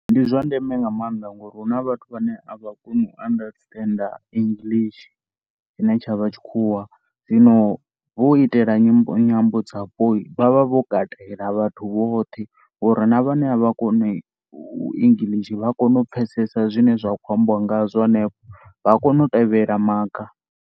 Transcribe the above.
Ndi zwa ndeme nga maanḓa ngori hu na vhathu vhane a vha koni u understand English tshine tsha vha tshikhuwa. Zwino hu u itela nyi, nyambo dzapo vha vha vho katela vhathu vhoṱhe ngori na vhane a vha koni English vha kona u pfhesesa zwine zwa khou ambiwa ngazwo henefho vha ya kona u tevhedzela maga.